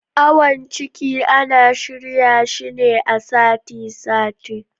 Awon ciki ana shirya shi ne a sati sati